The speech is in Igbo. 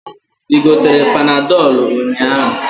I gotere panadolu ụnyaahụ?